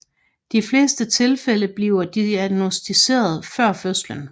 De fleste tilfælde bliver diagnosticeret før fødslen